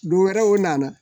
Dɔ wɛrɛw nana